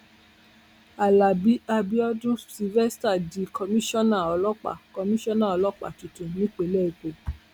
alábí abiodun sylvester di komisanna ọlọpàá komisanna ọlọpàá tuntun nípìnlẹ èkó